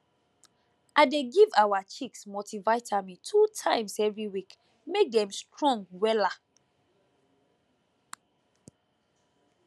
i dey give our chicks multivitamin two times every week make dem strong wella